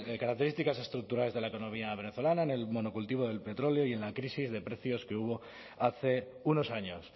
características estructurales de la economía venezolana en el monocultivo del petróleo y en la crisis de precios que hubo hace unos años